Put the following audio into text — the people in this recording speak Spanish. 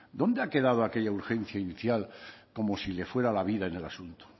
dónde ha quedado aquella urgencia inicial como si le fuera la vida en el asunto